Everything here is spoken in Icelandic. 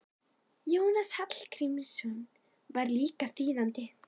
Jónas Hallgrímsson var líka þýðandi.